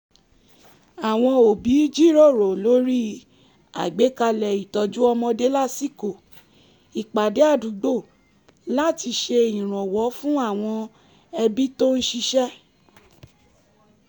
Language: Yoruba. àwọn òbí jíròrò lórí àgbékalẹ̀ itọju ọmọdé lásìkò ìpàdé àdúgbò láti ṣe ìrànwọ́ fún àwọn ẹbí tó ń ṣiṣẹ́